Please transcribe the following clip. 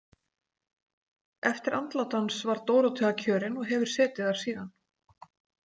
Eftir andlát hans var Dórótea kjörin og hefur setið þar síðan.